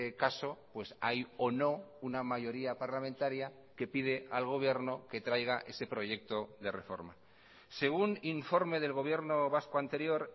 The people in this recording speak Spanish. caso pues hay o no una mayoría parlamentaria que pide al gobierno que traiga ese proyecto de reforma según informe del gobierno vasco anterior